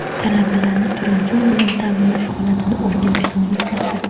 Talabalarni turar-joy bilan ta’minlash holatini o‘rganish davom etmoqda.